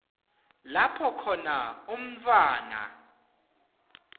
lapho khona umntfwana